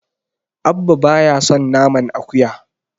Abba baya son naman akuya.